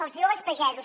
els joves pagesos